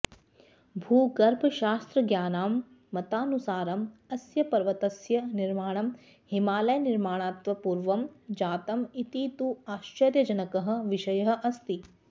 भूगर्भशास्त्रज्ञानां मतानुसारम् अस्य पर्वतस्य निर्माणं हिमालयनिर्माणात्पूर्वं जातम् इति तु आश्चर्यजनकः विषयः अस्ति